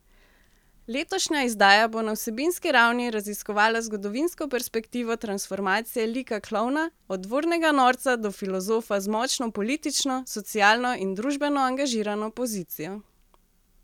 Letošnja izdaja bo na vsebinski ravni raziskovala zgodovinsko perspektivo transformacije lika klovna od dvornega norca do filozofa z močno politično, socialno in družbeno angažirano pozicijo.